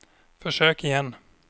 försök igen